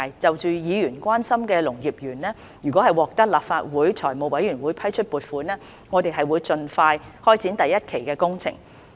就議員關心的農業園，如果獲得立法會財務委員會批出撥款，我們將盡快開展第一期的工程。